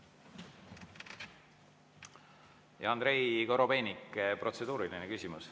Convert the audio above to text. Ja Andrei Korobeinik, protseduuriline küsimus.